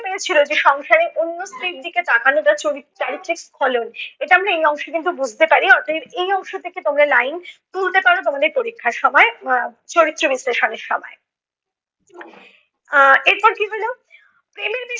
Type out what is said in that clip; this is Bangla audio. পেরেছিল যে সংসারে অন্য স্ত্রীর দিকে তাকানো তার চরিত~ চারিত্রিক স্খলন । এটা আমরা এ অংশে কিন্তু বুজতে পারি। অতএব এই অংশ থেকে তোমরা line তুলতে পারো তোমাদের পরীক্ষার সময় আহ চরিত্র বিশ্লেষণের সময় আহ এরপর কী হলো, প্রেমের বিষয়ে